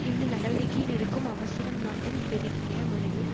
இந்த நடவடிக்கையில் இருக்கும் அவசரம் நாட்டில் பெருகிய முறையில்